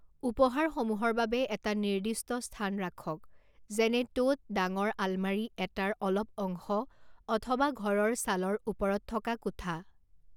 উপহাৰসমূহৰ বাবে এটা নিৰ্দিষ্ট স্থান ৰাখক যেনে টোট ডাঙৰ আলমাৰি এটাৰ অলপ অংশ অথবা ঘৰৰ চালৰ ওপৰত থকা কোঠা।